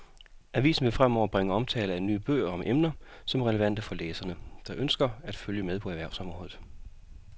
Avisen vil fremover bringe omtale af nye bøger om emner, som er relevante for læsere, der ønsker at følge med på erhvervsområdet.